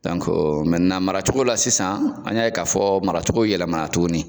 mara cogo la sisan , an y'a ye ka fɔ maracogo yɛlɛmana tuguni.